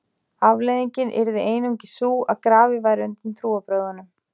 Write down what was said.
afleiðingin yrði einungis sú að grafið væri undan trúarbrögðunum